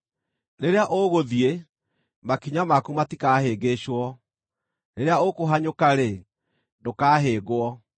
Rĩrĩa ũgũthiĩ, makinya maku matikahĩngĩcwo; rĩrĩa ũkũhanyũka-rĩ, ndũkahĩngwo.